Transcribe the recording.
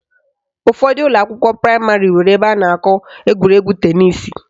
Ụfọdụ ụlọakwụkwọ praịmarị nwere ebe a na-akụ egwuregwu tenisi